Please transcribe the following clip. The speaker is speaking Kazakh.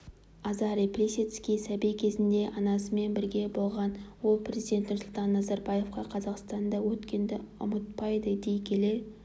азарий плисецкий сәби кезінде анасымен бірге болған ол президент нұрсұлтан назарбаевқа қазақстанда өткенді ұмытпайды дей келе